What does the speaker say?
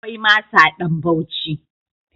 Akwai masa ɗan Bauci.